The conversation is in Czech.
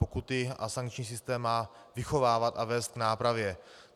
Pokuty a sankční systém má vychovávat a vést k nápravě.